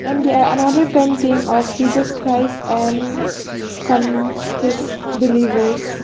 and they are another painting of jesus christ and some his believers.